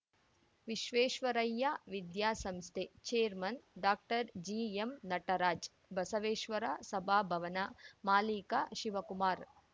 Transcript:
ವಿಶ್ವೇಶ್ವರಯ್ಯ ವಿದ್ಯಾಸಂಸ್ಥೆ chairman doctor G M Nataraj Basaveshwara ಸಭಾ ಭವನ ಮಾಲೀಕ ಶಿವಕುಮಾರ್‌